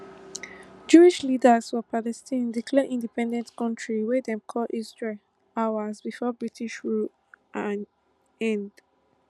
jewish leaders for palestine declare independent kontri wey dem call israel hours before british rule end